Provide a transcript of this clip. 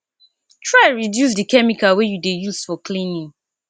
try reduce di chemical wey you dey use for cleaning